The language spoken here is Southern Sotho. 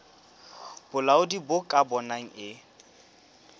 bolaodi bo ka bonang e